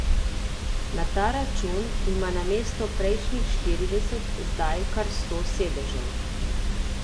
Na ta račun ima namesto prejšnjih štirideset zdaj kar sto sedežev.